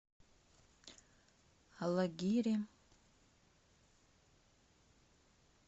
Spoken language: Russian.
алагире